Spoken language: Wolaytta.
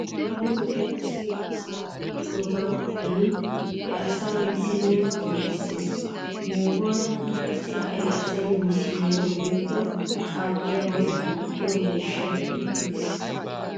Beni wode asay asaa duuqqiyoobay xayin he asaa misiliyan qonccisses. Yohuwan qassi ha'i asay misiliya woykko qaaxxiyaabaa duqqiyo miishshay puttu gis.